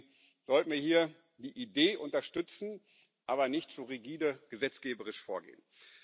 Deswegen sollten wir hier die Idee unterstützen, aber nicht zu rigide gesetzgeberisch vorgehen.